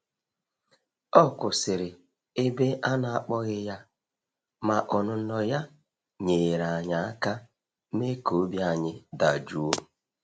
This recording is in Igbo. Ọ kwụsịrị ebe a na akpọghị ya, ma ọnụnọ ya nyeere anyị aka me ka obi ayi dajụọ.